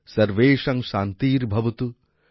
সর্বেষাং শান্তির্ভবতু